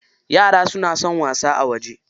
Yara suna son wasa a waje.